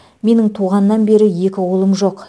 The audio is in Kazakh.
менің туғаннан бері екі қолым жоқ